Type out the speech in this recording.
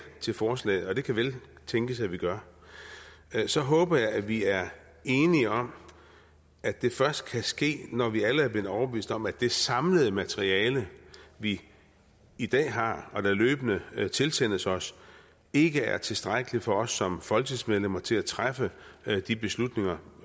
til forslaget og det kan vel tænkes at vi gør det så håber jeg at vi er enige om at det først kan ske når vi alle er blevet overbevist om at det samlede materiale vi i dag har og som løbende tilsendes os ikke er tilstrækkeligt for os som folketingsmedlemmer til at træffe de beslutninger